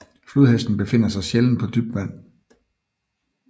Flodhesten befinder sig sjældent på dybt vand